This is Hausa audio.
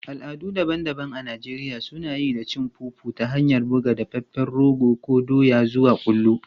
Al'adu daban-daban a Najeriya suna yi da cin fufu ta hanyar buga dafaffen rogo ko doya zuwa kullu.